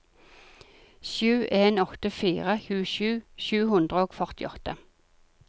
sju en åtte fire tjuesju sju hundre og førtiåtte